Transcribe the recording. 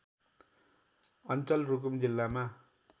अञ्चल रुकुम जिल्लामा